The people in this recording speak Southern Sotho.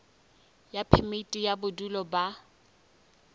ya phemiti ya bodulo ba